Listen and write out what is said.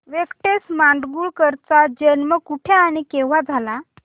व्यंकटेश माडगूळकर यांचा जन्म कुठे आणि केव्हा झाला